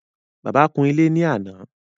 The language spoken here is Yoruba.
Bàbá kún ilé ní àná